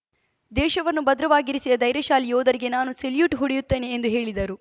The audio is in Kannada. ದೇಶವನ್ನು ಭದ್ರವಾಗಿರಿಸಿದ ಧೈರ್ಯಶಾಲಿ ಯೋಧರಿಗೆ ನಾನು ಸೆಲ್ಯೂಟ್‌ ಹೊಡೆಯುತ್ತೇನೆ ಎಂದು ಹೇಳಿದರು